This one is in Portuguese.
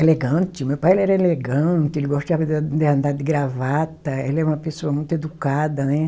elegante, meu pai ele era elegante, ele gostava de andar de gravata, ele é uma pessoa muito educada, né?